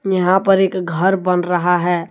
यहां पर एक घर बन रहा है।